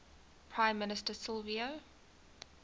prime minister silvio